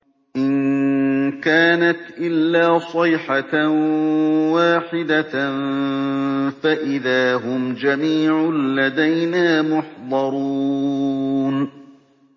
إِن كَانَتْ إِلَّا صَيْحَةً وَاحِدَةً فَإِذَا هُمْ جَمِيعٌ لَّدَيْنَا مُحْضَرُونَ